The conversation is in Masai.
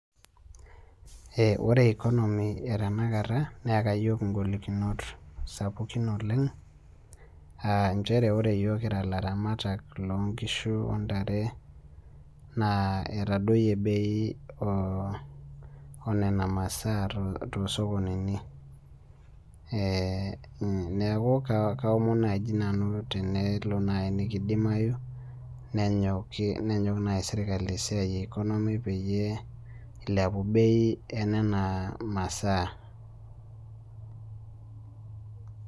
Ee orre economy e tanakata neyaka yiok ngolikinot sapukin oleng aa nchere ore yiok kira laramatak lonkishu ontare na itadoyie bei onona masaa tosokonini neakua kaomon nai nanu tenelo nikindimayu ne yok nai serkalii peilep bei enona masaa .